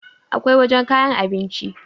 akwai wajen kayan abinci